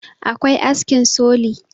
akwai askin soli